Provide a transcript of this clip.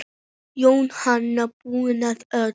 Jóhanna: Búinn að öllu?